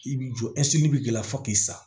I b'i jɔ bi k'i la fo k'i sa